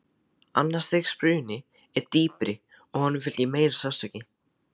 Annars stigs bruni er dýpri og honum fylgir meiri sársauki.